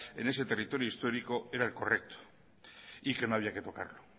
en ese territorio histórico era el correcto y que no había que tocarlo